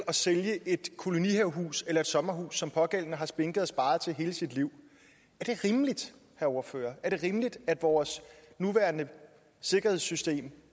at sælge et kolonihavehus eller et sommerhus som den pågældende har spinket og sparet til i hele sit liv er det rimeligt herre ordfører er det rimeligt at vores nuværende sikkerhedssystem